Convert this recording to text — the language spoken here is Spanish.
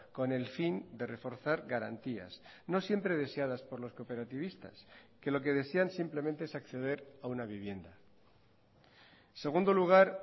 con el fin de reforzar garantías no siempre deseadas por los cooperativistas que lo que desean simplemente es acceder a una vivienda en segundo lugar